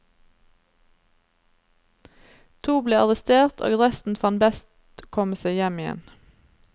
To ble arrestert og resten fant best å komme seg hjem igjen.